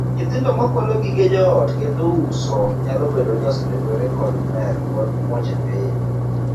Nyithindo ma kwalo gige joot kendo uso nyalo bedo ni osedonjore kod mer kod moche piny.